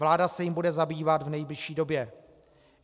Vláda se jím bude zabývat v nejbližší době.